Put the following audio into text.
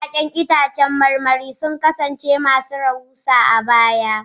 Ya'yan itãcen marmari sun kasance masu rahusa a baya.